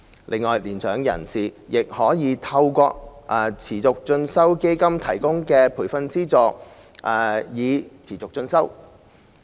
此外，年長人士亦可利用持續進修基金提供的培訓資助持續進修。